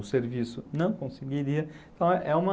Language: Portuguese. O serviço não conseguiria, então é uma...